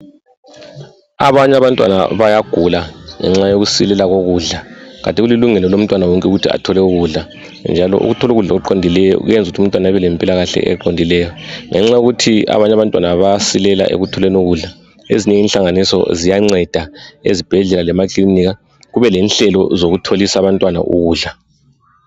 Abanye abantwana bayagula ngenxa yokuswelela kokudla kati kulilungelo lomntwana wonke ukuthi athole ukudla njalo ukuthola ukudla okuqondileyo kuyenzukuthi umntwana abelempilakahle eqondileyo. Ngenxa yokuthi abanye abantwana bayasilela ekutholeni ukudla, ezinye inhlanganiso ziyanceda ezibhedlela lemakilinika kube lenhlelo zokutholisa abantwana ukudla.